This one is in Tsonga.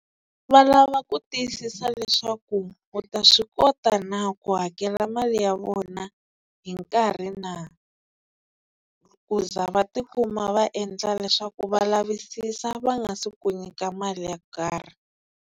Va lava ku tiyisisa leswaku u ta swi kota na ku hakela mali ya vona hi nkarhi na ku za va tikuma va endla leswaku va lavisisa va nga se ku nyika mali yo karhi.